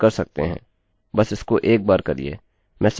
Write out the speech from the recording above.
आप एक अरैarray के प्रत्येक मान को सामने लाने के लिए लूप्सloops का प्रयोग कर सकते हैं